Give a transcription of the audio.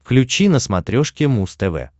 включи на смотрешке муз тв